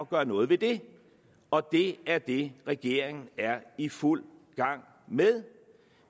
gøre noget ved det og det er det regeringen er i fuld gang med